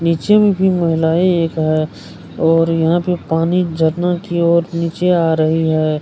निचे में तीन महिलाएं एक है और यहाँ पे पानी झरना की और निचे आ रही है।